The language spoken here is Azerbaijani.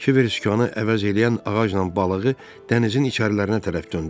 Kiver sükanı əvəz eləyən ağacla balığı dənizin içərilərinə tərəf döndərdi.